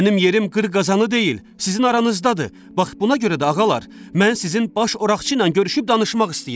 Mənim yerim qır qazanı deyil, sizin aranızdadır, bax buna görə də ağalar, mən sizin baş Oraqçı ilə görüşüb danışmaq istəyirəm.